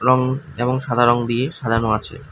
এবং সাদা রঙ দিয়ে সাজানো আছে।